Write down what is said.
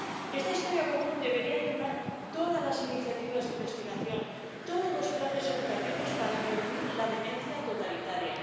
Esta historia común debería animar todas las iniciativas de investigación, todos los planes educativos para prevenir la demencia totalitaria.